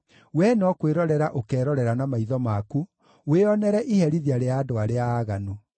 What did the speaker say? Wee no kwĩrorera ũkerorera na maitho maku wĩonere iherithia rĩa andũ arĩa aaganu.